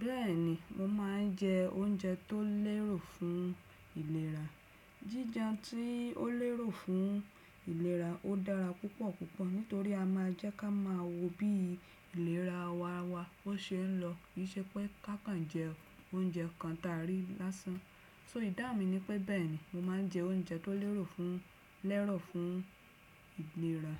Bẹ́ẹ̀ni, mo máa ń jẹ oúnjẹ tó lẹ́rò fún ìlera. Jí jẹun tí ó lẹ́rò fún ìlera ó dára púpọ̀púpọ̀ nítorí a máa jẹ́ ká máa mọ bí ìlera ara wa ó ṣe ń lọ. Kì í ṣe pé kákan jẹ oúnjẹ kan ta rí lásán. So idáun mi nipẹ́. Bẹ́ẹ̀ni, mo ma n jẹ oúnjẹ tó lẹ́rò fún, lẹ́rọ̀ fún ìlera.